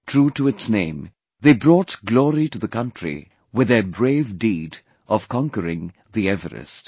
True to its name, they brought glory to the country with their brave deed of conquering the Everest